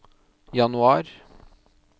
januar